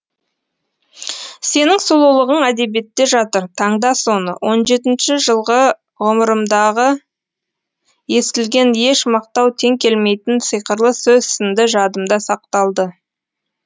сенің сұлулығың әдебиетте жатыр таңда соны он жетінші жылғы ғұмырымдағы естілген еш мақтау тең келмейтін сиқырлы сөз сынды жадымда сақталды